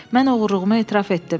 Mən oğurluğumu etiraf etdim.